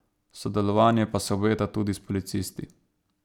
Sodelovanje pa se obeta tudi s policisti.